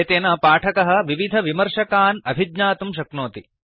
एतेन पाठकः विविधविमर्शकान् अभिज्ञातुं शक्नोति